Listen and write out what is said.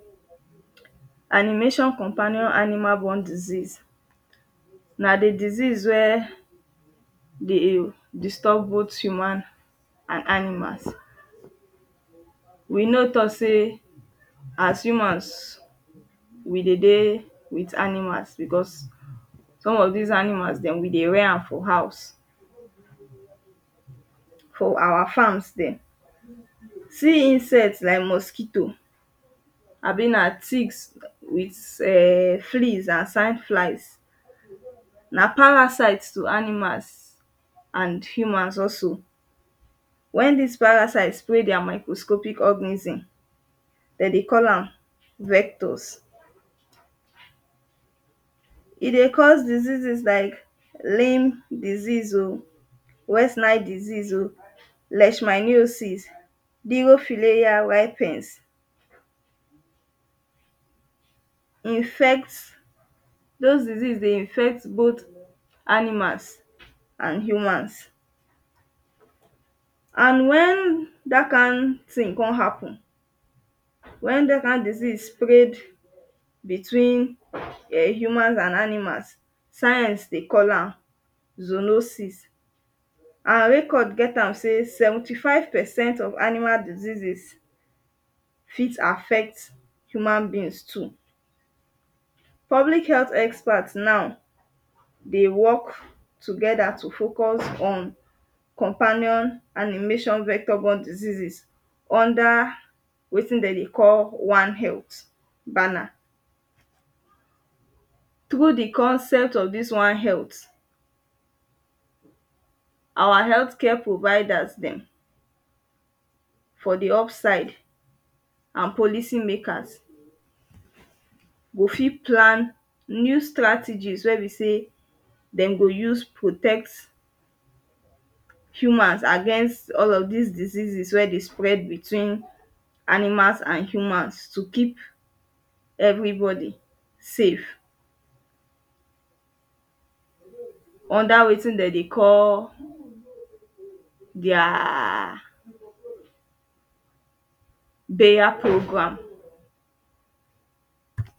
Animation companion animal borne disease na the disease wey dey disturb both humans and animals. We know talk say as humans we dey dey with animals because some of dese animals dem we dey rare am for house, for our farms dem. See insect like mosquito abi na ticks with um fleas and flies na parasite to animals and humans also. When dese parasites spray their microscopic organism dem dey call am vectors. E dey cause diseases like lyme disease oh, waistline disease oh, leishmaniasis infect dos disease dey infect both animals and humans. And when dat kind thing con happen when dat kind disease spread between um humans and animals, science dey call am zoonoses. And record get am sey seventy five percent of animal diseases fit affect human beings too. Public health expert now dey work together to focus on companion animation vector borne diseases under wetin dem dey call one health banner. Through the concept of dis one health our health care providers dem for the offside and policy makers go fit plan new strategies wey be sey dem go use protect humans against all of des diseases wey dey spread between animals and humans. To keep everybody safe under wetin dem dey call their bayer program.